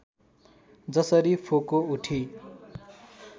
जसरी फोको उठी